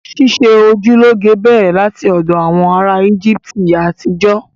Ṣíṣe ojú lọ́ge bẹ̀rẹ̀ láti ọ̀dọ̀ àwọn ará Íjíbítì àtijọ́